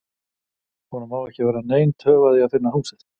Honum á ekki að verða nein töf að því að finna húsið.